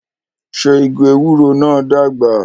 Ṣé igi ewúro náà ń dàgbà?